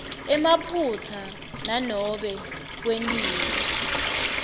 emaphutsa nanobe kwentiwe